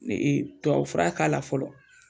Ne tubabu fura k'a la fɔlɔ.